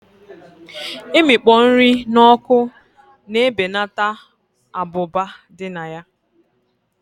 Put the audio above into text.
Imikpo nri na oku na ebeneta abụba dị na ya